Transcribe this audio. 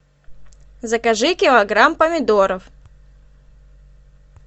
закажи килограмм помидоров